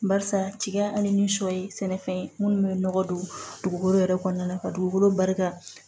Barisa jigiya ani ni sɔ ye sɛnɛfɛn ye minnu bɛ nɔgɔ don dugukolo yɛrɛ kɔnɔna na ka dugukolo barika